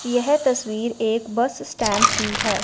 यह तस्वीर एक बस स्टैंड की है।